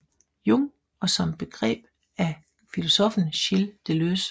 Jung og som begreb af filosoffen Gilles Deleuze